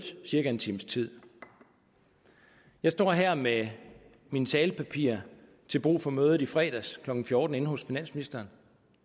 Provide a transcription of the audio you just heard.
cirka en times tid jeg står her med mine talepapirer til brug for mødet i fredags klokken fjorten hos finansministeren